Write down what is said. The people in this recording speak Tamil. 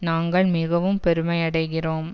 நாங்கள் மிகவும் பெருமையடைகிறோம்